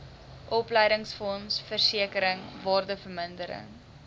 opleidingsfonds versekering waardevermindering